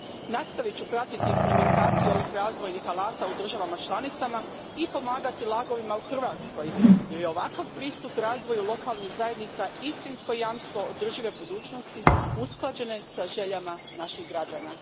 Nastavit ću pratiti implementaciju ovih razvojnih alata u državama članicama i pomagati LAG ovima u Hrvatskoj jer je ovakav pristup razvoju lokalnih zajednica istinsko jamstvo održive budućnosti usklađene sa željama naših građana.